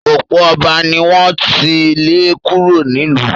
ọ̀pọ̀ ọba ni wọ́n ti lé kúrò nílùú.